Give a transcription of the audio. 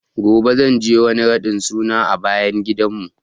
Gobe zan je wani raɗin suna a bayan gidan mu